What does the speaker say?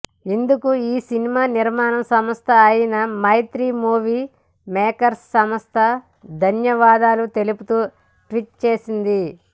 ఇందుకు ఈ సినిమా నిర్మాణ సంస్థ అయినా మైత్రి మూవీ మేకర్స్ సంస్థ ధన్యవాదాలు తెలుపుతూ ట్విట్ చేసింది